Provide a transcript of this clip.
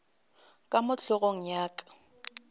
ka mo hlogong ya ka